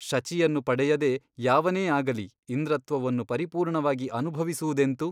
ಶಚಿಯನ್ನು ಪಡೆಯದೆ ಯಾವನೇ ಆಗಲಿ ಇಂದ್ರತ್ವವನ್ನು ಪರಿಪೂರ್ಣವಾಗಿ ಅನುಭವಿಸುವುದೆಂತು.